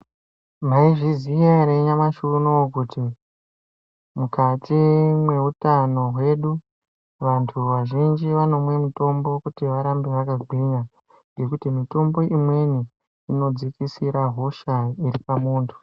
Maizviziya ere nyamashi unowu kuti mukati meutano hwedu vantu vazhinji vanomwe mitombo kuti varambe vakagwinya ngemuti mitombo imweni inodzikisra hosha iri pamuntu.